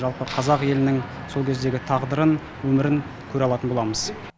жалпы қазақ елінің сол кездегі тағдырын өмірін көре алатын боламыз